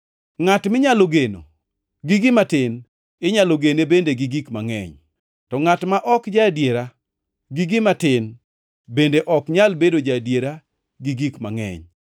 “Ngʼat minyalo geno gi gima tin, inyalo gene bende gi gik mangʼeny, to ngʼat ma ok ja-adiera gi gima tin bende ok nyal bedo ja-adiera gi gik mangʼeny.